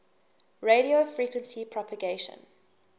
radio frequency propagation